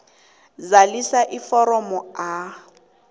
zalisa iforomo a